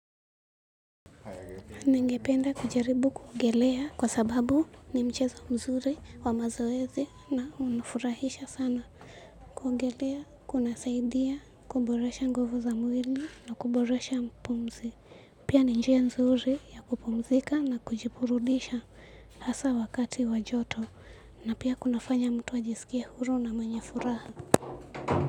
Ningependa kujaribu kuogelea kwa sababu ni mchezo mzuri wa mazoezi na unafurahisha sana kuogelea, kunasaidia, kuboresha nguvu za mwili na kuboresha pumzi. Pia ni njia nzuri ya kupumzika na kujiburudisha hasa wakati wa joto na pia kuna fanya mtu ajisikie huru na mwenye furaha.